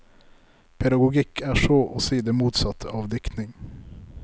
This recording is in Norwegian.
Pedagogikk er så å si det motsatte av diktning.